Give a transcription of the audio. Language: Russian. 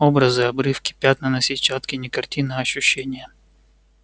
образы обрывки пятна на сетчатке не картин а ощущения